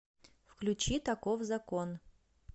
включи таков закон